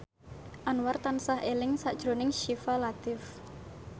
Anwar tansah eling sakjroning Syifa Latief